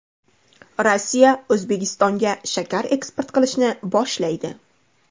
Rossiya O‘zbekistonga shakar eksport qilishni boshlaydi.